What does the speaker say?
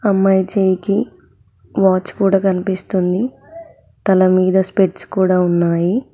అమ్మాయి చేయికి వాచ్ కూడ కనిపిస్తుంది తల మీద స్పెట్స్ కూడా ఉన్నాయి.